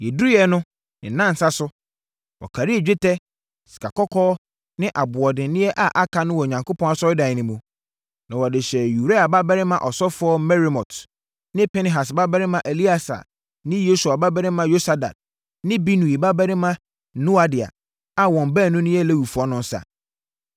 Yɛduruiɛ no, ne nnanan so, wɔkarii dwetɛ, sikakɔkɔɔ ne aboɔdenneɛ a aka no wɔ Onyankopɔn asɔredan no mu, na wɔde hyɛɛ Uria babarima ɔsɔfoɔ Meremot ne Pinehas babarima Eleasa ne Yesua babarima Yosabad ne Binui babarima Noadia a wɔn baanu no yɛ Lewifoɔ no nsa.